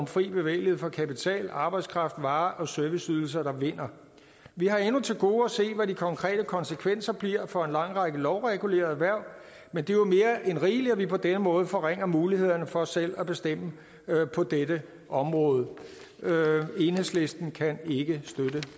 fri bevægelighed for kapital arbejdskraft varer og serviceydelser der vinder vi har endnu til gode at se hvad de konkrete konsekvenser bliver for en lang række lovregulerede erhverv men det er jo mere end rigeligt at vi på denne måde forringer mulighederne for selv at bestemme på dette område enhedslisten kan ikke støtte